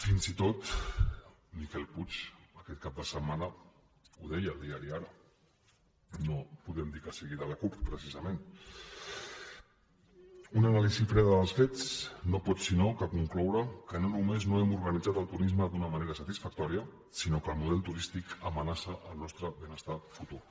fins i tot miquel puig aquest cap de setmana ho deia al diari ara no podem dir que sigui de la cup precisament una anàlisi freda dels fets no pot sinó concloure que no només no hem organitzat el turisme d’una manera satisfactòria sinó que el model turístic amenaça el nostre benestar futur